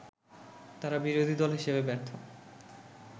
তারা বিরোধী দল হিসেবে ব্যর্থ